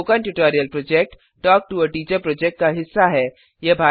spoken tutorial project talk to a teacher project का हिस्सा है